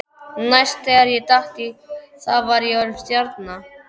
Næst þegar ég datt í það var ég orðinn stjarna.